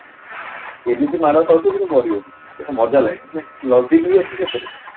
ଏମିତି ମାଡ ଖାଉଥିବ କିନ୍ତୁ ମରିବ ନି ପୁରା ମଜା ଲାଗେ ମାନେ loving ବି ଅଛି ସେଥିରେ